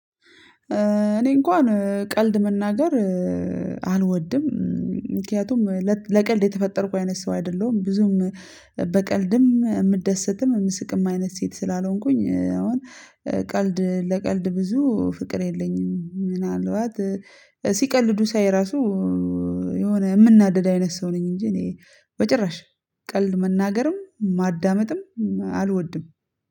እኔ እንኳን ቀልድ መናገር አልወድም። ምክንያቱም ለቀልድ የተፈጠርኩ አይነት ሰው አይደለሁም ብዙም በቀልድም የምደሰትም የምስቅም አይነት ሴት ስላልሆንኩኝ አሁን ቀልድ ለቀልድ ብዙ ፍቅር የለኝም ምናልባት ሲቀልዱ ሳይ እራሱ የሆነ የምናደድ አይነት ሰው ነኝ እንጂ እኔ በጭራሽ ቀልድ መናገርም ማዳመጥም አልወድም።